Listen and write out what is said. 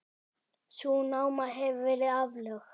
Sú náma hefur verið aflögð.